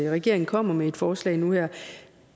at regeringen kommer med et forslag nu her